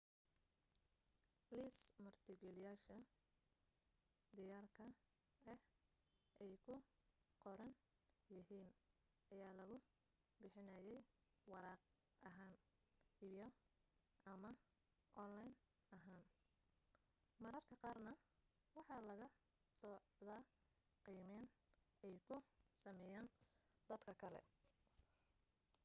liis martigeliyayaasha diyaarka ah ay ku qoran yihiin ayaa lagu bixinayaa waraaq ahaan iyo/ama online ahaan mararka qaarna waxa la socda qiimeyn ay ku sameeyeen dad kale